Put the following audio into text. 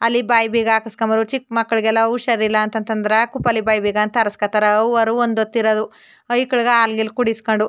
ಅಲ್ಲಿ ಬಾಯಿಬೀಗ ಹಾಕಿಸ್ಕೊಂಬೋದು ಚಿಕ್ಕ್ ಮಕ್ಕಾಳಿಗೆಲ್ಲ ಉಷಾರಿಲ್ಲ ಅಂತಾ ಅಂತಾದ್ರೆ ಕುಪಲಿ ಬಾಯಿಬೀಗ ಆರಿಸ್ಕತ್ತಾರೆ ಅವ್ವೋರು ಒಂದ್ ಹೊತ್ತು ಇರೋದು ಐಕ್ಕಲ್ ಗೆ ಹಾಲು ಗಿಲು ಕುಡಿಸ್ಕಂಡ್ --